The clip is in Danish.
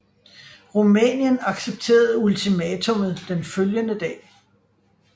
Rumænien accepterede ultimatummet den følgende dag